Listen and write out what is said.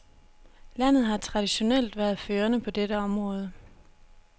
Landet har traditionelt været førende på dette område.